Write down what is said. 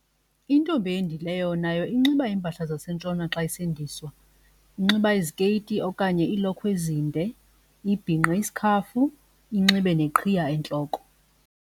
Intombi eyendileyo nayo inxiba iimpahla zaseNtshona xa isendiswa. Inxiba izikeyiti okanye iilokhwe ezinde ibhinqe isikhafu inxibe neqhiya entloko.